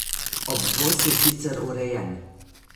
Obvoz je sicer urejen.